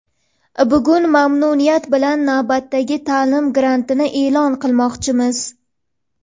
bugun mamnuniyat bilan navbatdagi taʼlim grantini eʼlon qilmoqchimiz.